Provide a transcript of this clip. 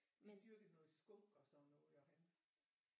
De dyrkede noget skunk og sådan noget og han